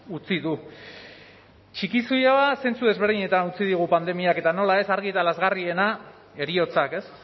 utzi du txikizioa zentzu desberdinetan utzi digu pandemiak eta nola ez argi eta lazgarriena heriotzak ez